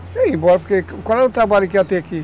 Eu ia ir embora, porque qual era o trabalho que ia ter aqui?